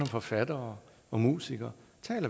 forfattere og musikere